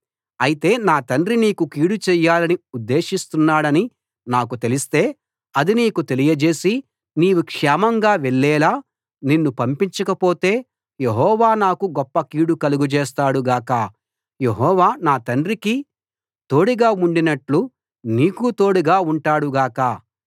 అయితే నా తండ్రి నీకు కీడు చేయాలని ఉద్దేశిస్తున్నాడని నాకు తెలిస్తే అది నీకు తెలియజేసి నీవు క్షేమంగా వెళ్ళేలా నిన్ను పంపించకపోతే యెహోవా నాకు గొప్ప కీడు కలుగచేస్తాడు గాక యెహోవా నా తండ్రికి తోడుగా ఉండినట్లు నీకూ తోడుగా ఉంటాడు గాక